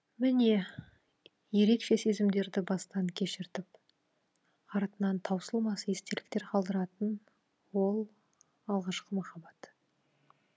міне ерекше сезімдерді бастан кешіртіп артынан таусылмас естеліктер қалдыратын ол алғашқы махаббат